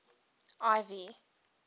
ivy